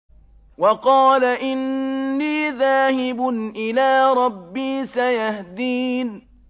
وَقَالَ إِنِّي ذَاهِبٌ إِلَىٰ رَبِّي سَيَهْدِينِ